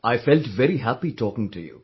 I felt very happy talking to you